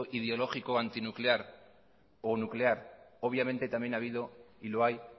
ideológico antinuclear o nuclear obviamente también ha habido y lo hay